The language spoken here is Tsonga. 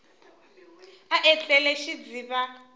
a etlele i xidziva xa